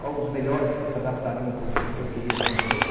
Quais os melhores que se adaptariam para o que eu queria, para o meu novo...